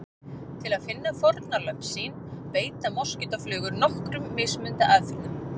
Til að finna fórnarlömb sín beita moskítóflugur nokkrum mismunandi aðferðum.